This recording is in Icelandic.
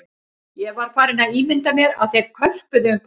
Ég var farinn að ímynda mér að þeir körpuðu um pólitík